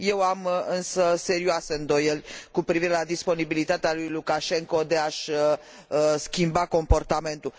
Eu am, însă, serioase îndoieli cu privire la disponibilitatea lui Lukașenko de a și schimba comportamentul.